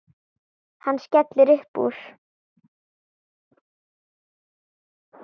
Hann skellir upp úr.